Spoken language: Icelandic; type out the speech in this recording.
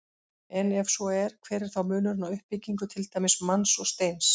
Og ef svo er, hver er þá munurinn á uppbyggingu til dæmis manns og steins?